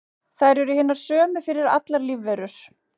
Þær eru hinar sömu fyrir allar lífverur.